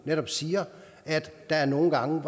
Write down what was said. netop siger at der nogle gange